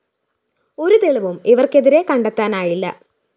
ഒരു തെളിവും ഇവര്‍ക്കെതിരേ കണ്ടെത്തനായില്ല